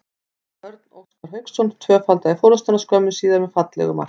Óskar Örn Hauksson tvöfaldaði forystuna skömmu síðar með fallegu marki.